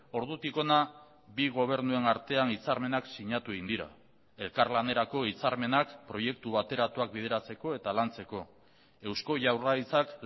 ordutik hona bi gobernuen artean hitzarmenak sinatu egin dira elkarlanerako hitzarmenak proiektu bateratuak bideratzeko eta lantzeko eusko jaurlaritzak